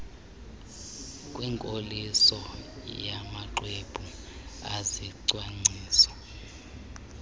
kwinkoliso yamaxwebhu ezicwangciso